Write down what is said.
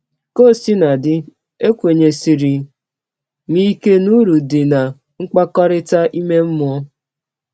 Ka ọ sina dị, ekwenyesiri m ike n’ụrụ dị ná mkpakọrịta ime mmụọ.